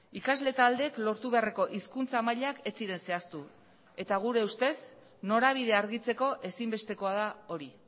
ikasle taldeek lortu beharreko hizkuntza mailak ez ziren zehaztu eta gure ustez norabidea argitzeko ezinbestekoa da hori